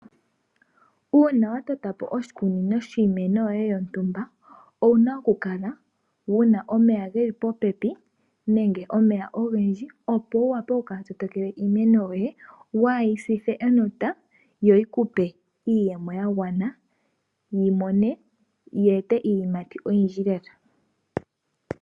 Uuna wa totapo oshikunino shiimeno yoye yontumba owuna okukaleka wuna omeya geli popepi nenge omeya ogendji opo wukale okukala to tekele iimeno yoye ,kuuyi sithe enota yo yikupe iiyemo yagwana yi ete iiyimati oyindji lela